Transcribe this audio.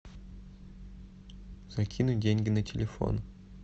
закинуть деньги на телефон